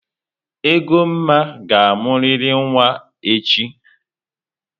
Egoma ga-amụrịrị nwaa echi!